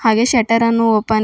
ಹಾಗೆ ಶೆಟ್ಟರ್ ಅನ್ನು ಓಪನ್ --